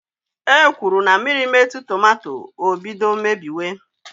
E kwuru na mmiri metụ tomato, o bido mebiwe.